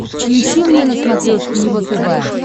включи мне на смотрешке его тв